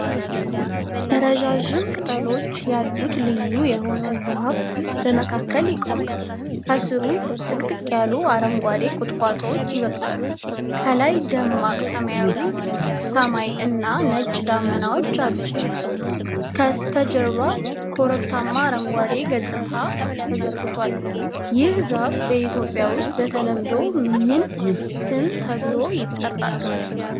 ረዣዥም ቅጠሎች ያሉት ልዩ የሆነ ዛፍ በመካከል ይቆማል። ከሥሩ ጥቅጥቅ ያሉ አረንጓዴ ቁጥቋጦዎች ይበቅላሉ። ከላይ፣ ደማቅ ሰማያዊ ሰማይና ነጭ ደመናዎች አሉ። ከበስተጀርባ ኮረብታማ አረንጓዴ ገጽታ ተዘርግቷል። ህ ዛፍ በኢትዮጵያ ውስጥ በተለምዶ ምን ስም ተብሎ ይጠራል?